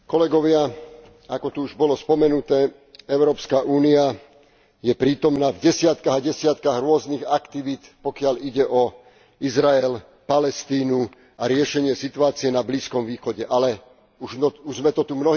Ako tu už bolo spomenuté, EÚ je prítomná v desiatkach a desiatkach rôznych aktivít, pokiaľ ide o Izrael, Palestínu a riešenie situácie na Blízkom východe, ale už sme to tu mnohí konštatovali.